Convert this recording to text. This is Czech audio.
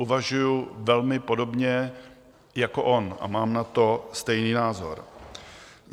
Uvažuji velmi podobně jako on a mám na to stejný názor.